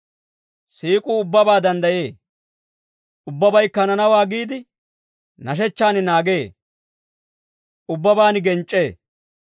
Siik'uu ubbabaa danddayee. Ubbabaykka hananawaa giide, nashechchaan naagee. Ubbabaan genc'c'ee.